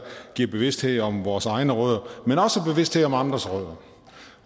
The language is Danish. giver bevidsthed om vores egne rødder men også bevidsthed om andres rødder